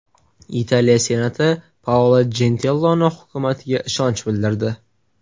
Italiya senati Paolo Jentiloni hukumatiga ishonch bildirdi.